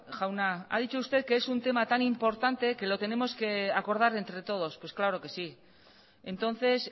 jauna ha dicho usted que es un tema tan importante que lo tenemos que acordar entre todos pues claro que sí entonces